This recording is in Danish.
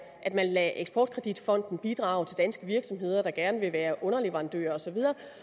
at man lader eksportkreditfonden bidrage til danske virksomheder der gerne vil være underleverandører og så